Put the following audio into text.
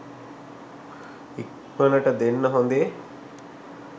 ඉක්මනටම දෙන්න හොදේ